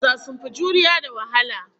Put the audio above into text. Maza sun fi juriya da wahala